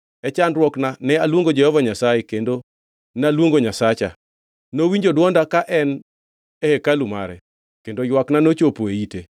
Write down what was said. “E chandruokna ne aluongo Jehova Nyasaye kendo naluongo Nyasacha. Nowinjo dwonda ka en e hekalu mare kendo ywakna nochopo e ite.